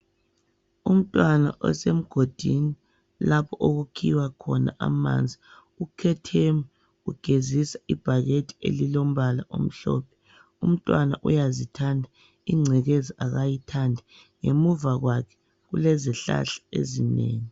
Umntwana osemgodini lapho okukhiwa khona amanzi ukhetheme ugezisa ibhakede elilombala omhlophe, umntwana uyazithanda, ingcekeza akayithandi ngemuva kwakhe kulezihlahla ezinengi.